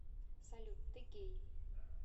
салют ты гей